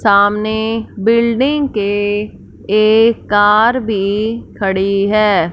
सामने बिल्डिंग के एक कार भी खड़ी है।